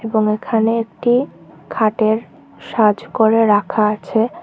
এবং এখানে একটি খাটের সাজ করে রাখা আছে।